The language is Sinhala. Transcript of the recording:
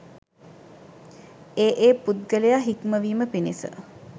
ඒ ඒ පුද්ගලයා හික්මවීම පිණිස